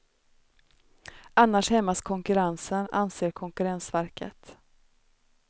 Annars hämmas konkurrensen, anser konkurrensverket.